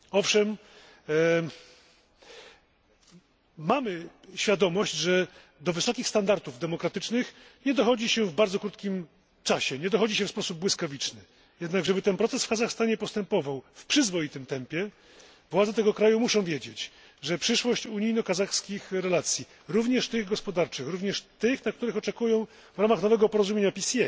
Owszem, mamy świadomość, że do wysokich standardów demokratycznych nie dochodzi się w bardzo krótkim czasie, nie dochodzi się w sposób błyskawiczny. Jednakże by ten proces w Kazachstanie postępował w przyzwoitym tempie, władze tego kraju muszą wiedzieć, że przyszłość unijno kazachskich relacji również tych gospodarczych, również tych, na które oczekują w ramach nowego porozumienia PCA,